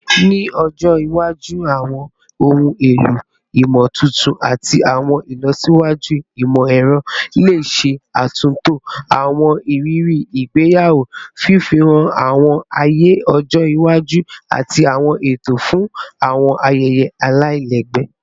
Ni ọjọ iwaju, awọn ohun elo imotuntun ati awọn ilọsiwaju imọ-ẹrọ le ṣe atunto awọn iriri igbeyawo, fifunni awọn aaye ọjọ iwaju ati awọn eto fun awọn ayẹyẹ alailẹgbẹ